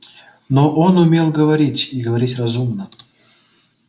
но он умел говорить и говорить разумно